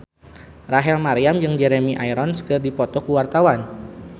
Rachel Maryam jeung Jeremy Irons keur dipoto ku wartawan